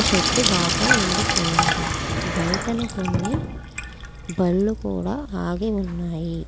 చెట్టు బాగా ఎండిపోయింది బయట కొన్ని బండ్లు కూడా ఆగి ఉన్నాయి.